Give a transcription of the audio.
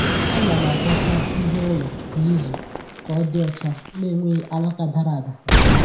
A na m agacha ihu ụlọ kwa izu ka ọ dị ọcha, na-enweghị alaka dara ada na ahịhịa